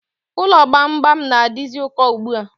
Ụlọ gbamgbam na-adizi ụkọ ugbua